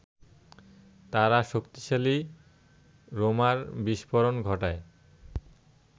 তারা শক্তিশালী বোমার বিষ্ফোরণ ঘটায়